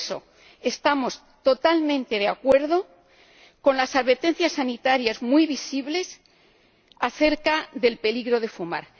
Por eso, estamos totalmente de acuerdo con las advertencias sanitarias muy visibles acerca del peligro de fumar